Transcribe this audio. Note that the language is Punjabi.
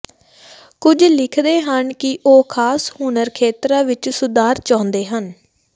ਕੁਝ ਲਿਖਦੇ ਹਨ ਕਿ ਉਹ ਖਾਸ ਹੁਨਰ ਖੇਤਰਾਂ ਵਿੱਚ ਸੁਧਾਰ ਚਾਹੁੰਦੇ ਹਨ